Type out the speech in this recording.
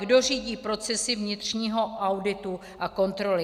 Kdo řídí procesy vnitřního auditu a kontroly?